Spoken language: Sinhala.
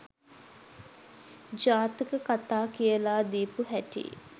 ජාතක කතා කියලා දීපු හැටියි.